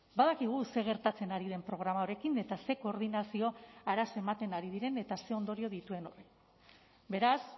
badakigu zer gertatzen ari den programa honekin eta ze koordinazio arazo ematen ari diren eta zer ondorio dituen beraz